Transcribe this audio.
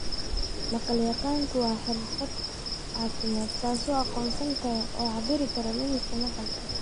Maqal-yaqaanku waa xirfadle caafimaad kaasoo aqoonsan kara oo cabbiri kara lumista maqalka.